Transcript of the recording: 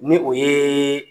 Ni o ye